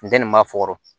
Funteni m'a fukɔrɔ